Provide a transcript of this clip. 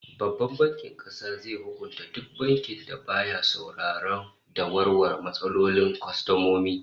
Babban Bankin Kasa zai hukunta duk bankin da baya sauraro da warware matsalolin kwastomomi